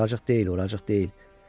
Buracıq deyil, buracıq deyil.